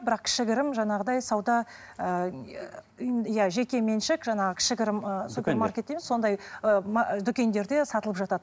бірақ кішігірім жаңағыдай сауда ыыы жекеменшік жаңағы кішігірім ы дейміз сондай дүкендерде сатылып жатады